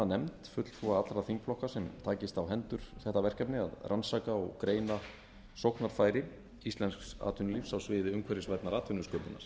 nefnd fulltrúa allra þingflokka sem takist á hendur þetta verkefni að rannsaka og greina sóknarfæri íslensks atvinnulífs á sviði umhverfisvænnar atvinnusköpunar